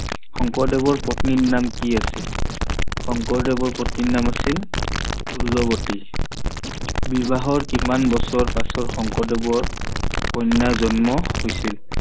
শংকৰদেৱৰ পত্নিৰ নাম কি আছিল? শংকৰদেৱৰ পত্নিৰ নাম আছিল ষোল্লৱতী। বিবাহৰ কিমান বছৰৰ পাছত শংকৰদেৱৰ কন্যা জন্ম হৈছিল?